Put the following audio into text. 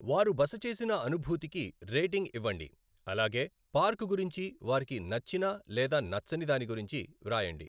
వారు బస చేసిన అనుభూతికి రేటింగ్ ఇవ్వండి అలాగే పార్క్ గురించి వారికి నచ్చిన లేదా నచ్చని దాని గురించి వ్రాయండి.